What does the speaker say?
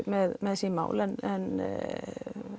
með sín mál en